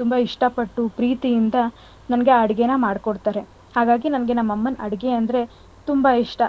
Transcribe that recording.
ತುಂಬ ಇಷ್ಟ ಪಟ್ಟು ಪ್ರೀತಿಯಿಂದ ನನ್ಗೆ ಅಡ್ಗೆನ ಮಾಡ್ಕೊಡ್ತಾರೆ. ಹಾಗಾಗಿ ನನಗೆ ನನ್ ಅಮ್ಮನ್ ಅಡ್ಗೆ ಅಂದ್ರೆ ತುಂಬ ಇಷ್ಟ